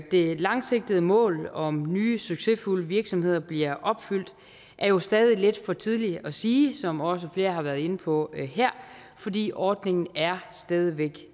det langsigtede mål om nye succesfulde virksomheder bliver opfyldt er jo stadig lidt for tidligt at sige som også flere har været inde på her fordi ordningen stadig væk